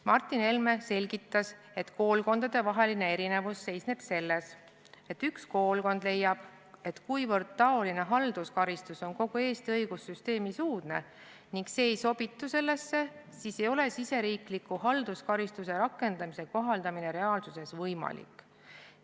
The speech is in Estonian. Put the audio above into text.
Martin Helme selgitas, et koolkondadevaheline erinevus seisneb selles, et üks koolkond leiab, et kuivõrd taoline halduskaristus on kogu Eesti õigussüsteemis uudne ega sobitu sellesse, siis ei ole riigisisese halduskaristuse rakendamise kohaldamine reaalsuses võimalik.